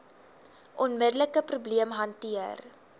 onmiddelike probleem hanteer